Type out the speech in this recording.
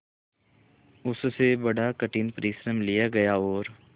उससे बड़ा कठिन परिश्रम लिया गया और